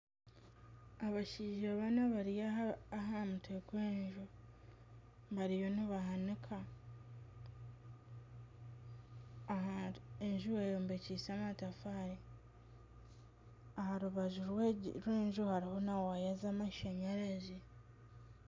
Abashaija bana bari aha mutwe gw'enju bariyo nibahanika , enju eyombekyise amatafari aha rubaju rw'enju hariho na waya z'amashanyarazi.